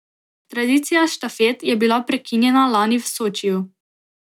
Tradicija štafet je bila prekinjena lani v Sočiju.